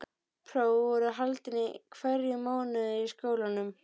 Próf voru haldin í hverjum mánuði í skólanum.